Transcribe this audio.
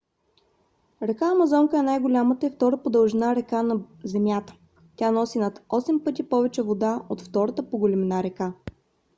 река амазонка е най-голямата и втора по дължина река на земята. тя носи над 8 пъти повече вода от втората по големина река